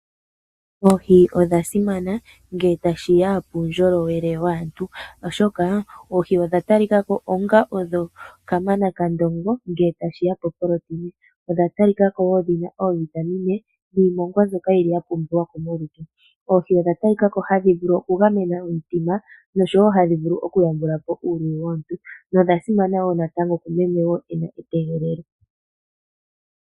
Oohi odha simana ngele tashi ya puundjolowele waantu, oshoka oohi odha talika ko odho kamanakandongo ngele tashi ya poproteina. Odha talika ko wo dhi na oovitamine niimongwa mbyoka ya pumbiwa molutu. Oohi odha talika ko hadhi vulu okugamena omutima noshowo hadhi vulu okuyambula po uuluyi womuntu nodha simana wo natango kumeme e li metegelelo.